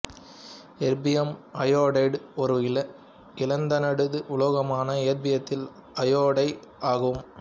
erbium iodide ஒரு இலந்தனைடு உலோகமான எர்பியத்தின் அயோடைடு ஆகும்